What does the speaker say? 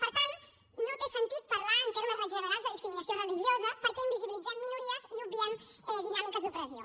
per tant no té sentit parlar en termes generals de discriminació religiosa perquè invisibilitzem minories i obviem dinàmiques d’opressió